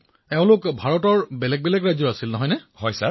প্ৰধানমন্ত্ৰীঃ ইয়াৰেই নে ভাৰতৰ ভিন্ন ভিন্ন ৰাজ্যৰ পৰাও গৈছিল